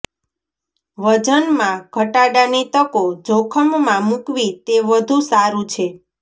વજનમાં ઘટાડાની તકો જોખમમાં મૂકવી તે વધુ સારું છે